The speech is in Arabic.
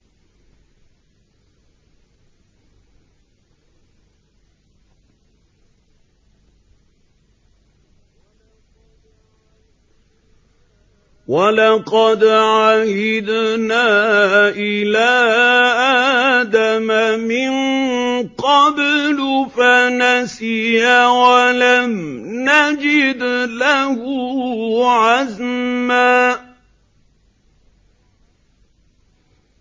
وَلَقَدْ عَهِدْنَا إِلَىٰ آدَمَ مِن قَبْلُ فَنَسِيَ وَلَمْ نَجِدْ لَهُ عَزْمًا